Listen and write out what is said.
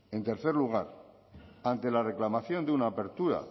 en tercer lugar ante la reclamación de una apertura